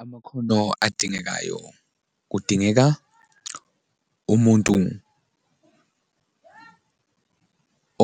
Amakhono adingekayo, kudingeka umuntu